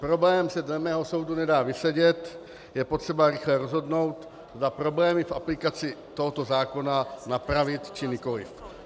Problém se dle mého soudu nedá vysedět, je potřeba rychle rozhodnout, zda problémy v aplikaci tohoto zákona napravit, či nikoliv.